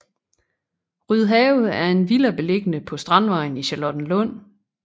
Rydhave er en villa beliggende på Strandvejen i Charlottenlund